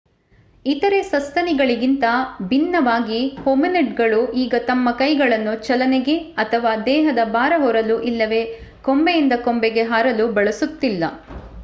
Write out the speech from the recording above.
ಇತರೇ ಸಸ್ತನಿಗಳಿಗಿಂತ ಭಿನ್ನವಾಗಿ ಹೊಮಿನಿಡ್ಗಳು ಈಗ ತಮ್ಮ ಕೈಗಳನ್ನು ಚಲನೆಗೆ ಅಥವಾ ದೇಹದ ಭಾರ ಹೊರಲು ಇಲ್ಲವೇ ಕೊಂಬೆಯಿಂದ ಕೊಂಬೆಗೆ ಹಾರಲು ಬಳಸುತ್ತಿಲ್ಲ